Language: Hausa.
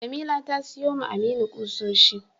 Jamila ta siyowa Aminu kusoshi.